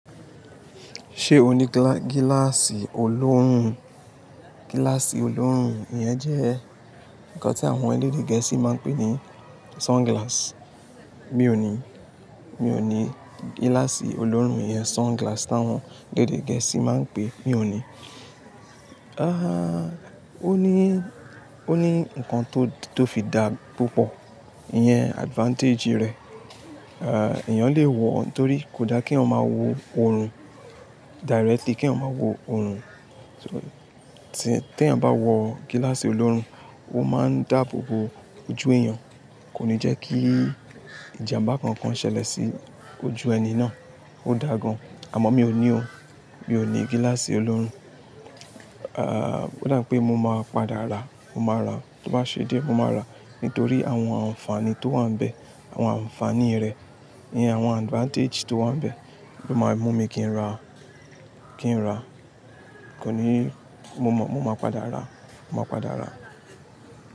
Ṣé o ní gíláàsì olóòrùn? Gíláàsì olóòrùn yẹn jẹ́ nǹkan tí àwọn elédè gẹ̀ẹ́sì máa ń pè ní sunglasses. Mi ò ní, mi ò ní gíláàsì olóòrùn iyẹn sunglasses táwọn elédè gẹ̀ẹ́sì máa ń pè, mi ò ní. Ó ní, ó ní nǹkan tó fi dáa púpọ̀, ìyẹn advantage rẹ̀. Ehn, èèyàn lè wọ̀ ọ́n torí kò da kí ọmọ máa wo òórùn directly, kí ọmọ máa wo òórùn. Tí èèyàn bá wọ gíláàsì olóòórùn, ó máa ń dáàbò bo ojú èèyàn, kò ní jẹ́ kí ìjàmbá kankan ṣẹlẹ̀ sí ojú ẹni náà. Ó dáa gan, àmọ́ mi ò ní òun, mi ò ní gíláàsì olóòrùn. Ehn, ó dà pé mo máa padà ra, mo máa ra, tó bá ṣe di ẹ mo máa ra nítorí àwọn àǹfààní tó wà níbẹ̀, àwọn àǹfààní rẹ̀, ìyẹn àwọn advantage tó wà níbẹ̀ ló máa mú mi kí n ra, kí n ra. Kò ní, mo máa padà ra, mo máa padà ra.